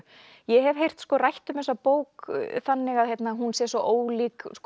ég hef heyrt rætt um þessa bók þannig að hún sé svo ólík